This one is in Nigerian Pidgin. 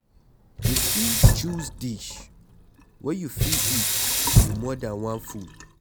You fit choose dish wey you fit eat with more than one food